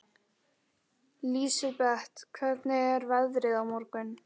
Lísebet, hvernig er veðrið á morgun?